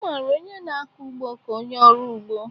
A mara onye na-akọ ugbo ka onye ọrụ ugbo;